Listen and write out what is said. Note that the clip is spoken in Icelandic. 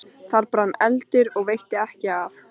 Þar brann eldur og veitti ekki af.